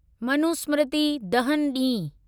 मनुस्मृति दहन ॾींहुं